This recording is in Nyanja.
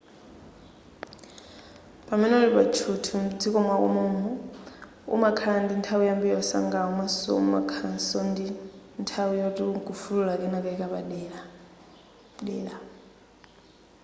pamene uli pa tchuthi mdziko mwako mom'mo umakhala ndi nthawi yambiri yosangalala komaso umakhalaso ndi nthawi yoti nkufulula kenakake kapaderadera